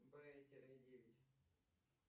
б тире девять